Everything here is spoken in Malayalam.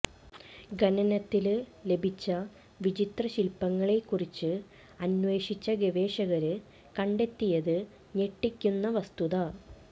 ഖനനത്തില് ലഭിച്ച വിചിത്രശില്പ്പങ്ങളെക്കുറിച്ച് അന്വേഷിച്ച ഗവേഷകര് കണ്ടെത്തിയത് ഞെട്ടിക്കുന്ന വസ്തുത